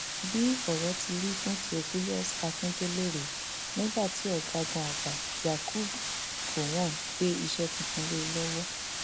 bí ọrọ ti rí fún theophilous akíndélé rèé nígbà tí ọgágun àgbà yakubu gọwọn gbé iṣẹ tuntun lé e lọwọ